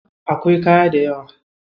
Akwai kaya dayawa.